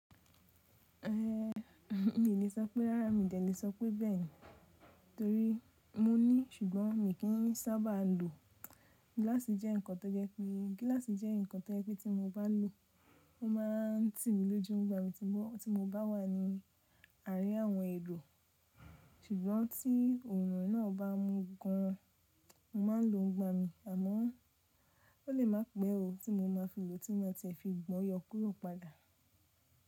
Eh mi le sọpe rárá mi de e le sọ pe bẹ́ẹ̀ ni torí mo ní ṣùgbọ́n mi kì í sábà lo. Gíláàsì jẹ́ ǹkan tó jẹ́ pé tí mo bá lo ó, ó má n tì mí lójú. Ó gba mi tí gbo ti mo bá wà ní àrí àwọn èrò ṣùgbọ́n tí òòrùn náà bá mú gan an, mo má n lo ún gba mi àmọ́ ó le má pẹ́ o tí mo ma fi lo tí wọn tẹ fi gbọ́ yọ kuró padà.